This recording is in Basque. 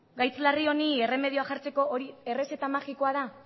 gaitz larri honi erremedioa jartzeko hori errezeta magikoa da